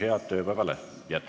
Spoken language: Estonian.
Head tööpäeva jätku!